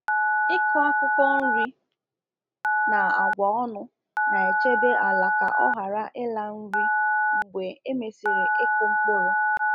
Ịkụ akwụkwọ nri na agwa ọnụ na-echebe ala ka ọ ghara ịla nri mgbe e mesịrị ịkụ mkpụrụ.